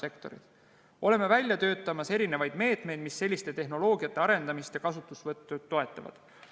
Me oleme välja töötamas erinevaid meetmeid, mis selliste tehnoloogiate arendamist ja kasutuselevõttu toetavad.